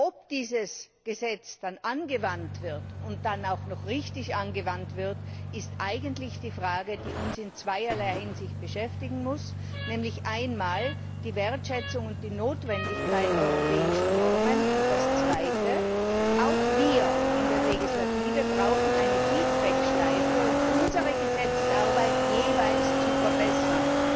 Ob dieses Gesetz dann angewandt wird und dann auch noch richtig angewandt wird, ist eigentlich die Frage, die uns in zweierlei Hinsicht beschäftigen muss nämlich einmal die Wertschätzung und die Notwendigkeit europäischer Normen und das Zweite auch wir in der Legislative brauchen eine Feedback Schleife, um unsere Gesetzesarbeit jeweils zu verbessern.